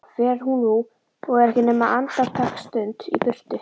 Fer hún nú og er ekki nema andartaksstund í burtu.